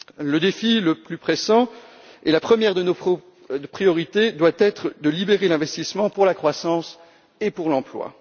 Le défi le plus pressant et la première de nos priorités doivent être de libérer l'investissement pour la croissance et pour l'emploi.